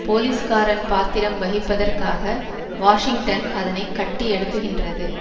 போலீஸ்காரன் பாத்திரம் வகிப்பதற்காக வாஷிங்டன் அதனை கட்டி எழுப்புகின்றது